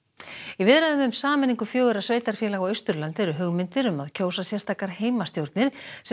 í viðræðum um sameiningu fjögurra sveitarfélaga á Austurlandi eru hugmyndir um að kjósa sérstakar heimastjórnir sem